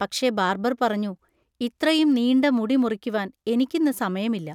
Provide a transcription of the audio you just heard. പക്ഷെ ബാർബർ പറഞ്ഞു, ഇത്രയും നീണ്ട മുടി മുറിക്കുവാൻ എനിക്കിന്ന് സമയമില്ല!